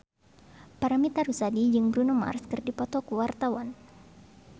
Paramitha Rusady jeung Bruno Mars keur dipoto ku wartawan